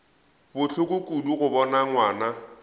bohloko kudu go bona ngwana